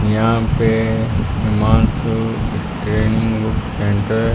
यहां पे Himanshu training book centre --